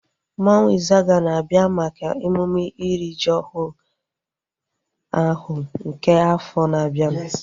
Mmanwu Izaga na-abịa maka emume iri ji ọhụrụ ahu nke afọ na-abianu